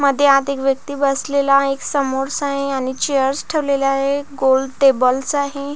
मध्ये आत एक व्यक्ती बसलेला आहे एक आहे आणि चेअर्स ठेवलेली आहे गोल टेबलस आहे.